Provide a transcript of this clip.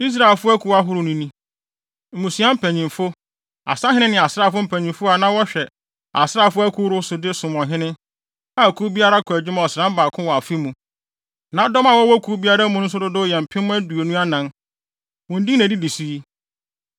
Israelfo akuw ahorow no ni—mmusua mpanyimfo, asahene ne asraafo mpanyimfo a na wɔhwɛ asraafo akuw ahorow so de som ɔhene, a kuw biara kɔ adwuma ɔsram baako wɔ afe mu. Na dɔm a wɔwɔ kuw biara mu nso dodow yɛ mpem aduonu anan (24,000). Wɔn din na edidi so yi.